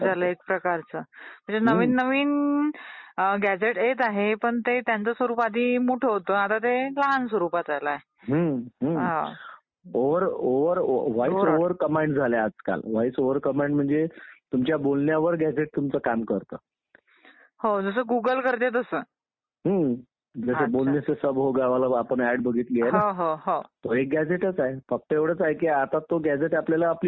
हुकूमशाहीच होती. परंतु ब्रिटिशांनी, काही ब्रिटिश असे होते की भारतीय लोकांना काही प्रमाणात सत्तेत सहभागी होता यावं ह्यासाठी त्यांनी साधारणतः एकोणिसाव्या शतकात थोडेफार हालचाली करायला सुरुवात झाली म्हणजे अठराशे सत्तावन्नच्या नंतर भारतीय स्वातंत्र्यलढ्याचा उठाव जो एक उठाव झाला होता, तो त्यांनी दडपला ब्रिटिशांनी. त्यांनतर त्यांच्या लक्षात असं आलं की काही भारतीय लोकांना आपण सत्तेत सामावून घ्यावं.